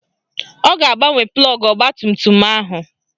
Ọ ga-agbanwe plọgụ ọgbatumtum ahụ